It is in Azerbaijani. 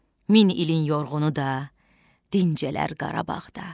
Min ilin yorğunu da dincələr Qarabağda.